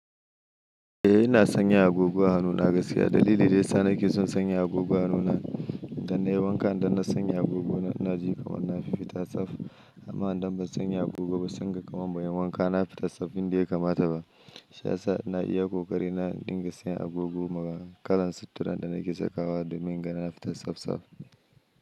Eh ina sanya agogo a hannuna gaskiya. Dalili dayasa nake son sanya agogo a hannuna idan nai wanka idan na sanya agogo na inaji kaman na fi fita tsaf. Amma idan ban sanya agogo ba sai inga kaman ban yi wanka na fita tsaf, inda ya kamata ba. Shiya sa ina iya ƙoƙari na in dinga sinya agogo ma kalan sittiran da nake sakawa domin in gana fita tsaf tsaf.